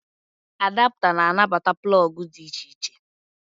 Adapta na anabata plọọgụ dị iche iche